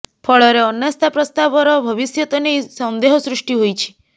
ଫଳରେ ଅନାସ୍ଥା ପ୍ରସ୍ତାବର ଭବିଷ୍ୟତ ନେଇ ସନ୍ଦେହ ସୃଷ୍ଟି ହୋଇଛି